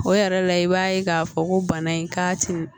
O yɛrɛ la i b'a ye k'a fɔ ko bana in k'a tɛ